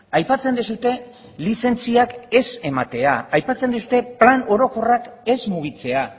aipatzen duzue lizentziak ez ematea aipatzen duzue plan orokorrak ez mugitzea